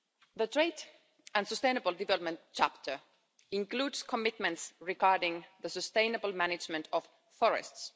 The trade and sustainable development chapter includes commitments regarding the sustainable management of forests.